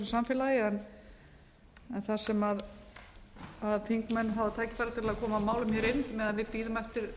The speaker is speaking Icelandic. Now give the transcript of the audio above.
samfélagi en þar sem þingmenn hafa tækifæri til að koma málum inn meðan við bíðum eftir